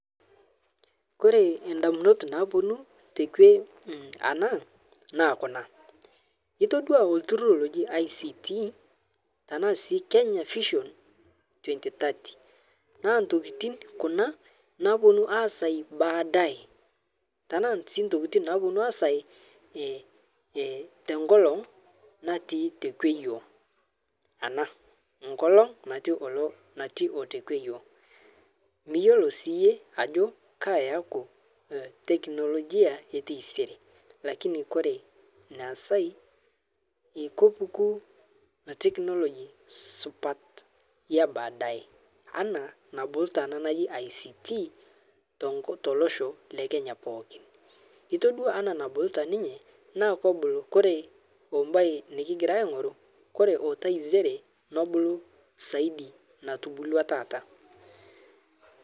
Kore endamunot naapuonu tekwe ana naa kuna, itodua oltururr loji ICT tana sii Kenya Vision 2030, naa ntokitin kuna naaponu aasai baadae tanaa sii ntokitin naaponu aasai eh eh tenkolong' natii tekwe yuo ana nkolong' natii olo natii otekwe yuo. Miyuolo siiye ajo kaa yeauku eh teknolojia eteisere lakini kore neesai ekepuku technology supat ebaadaye ana nabukuta ana naji ICT tenko telosho lekenya pookin itodua ana nabukuta ninye naa kobulu kore obaye nikigira aing'oru kore oitesiere nebulu saidi natubua taata.